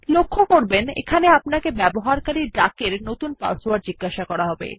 লক্ষ্য করবেন এখানে আপনাকে ব্যবহারকারী ডাক এর নতুন পাসওয়ার্ড জিজ্ঞাসা করা হবে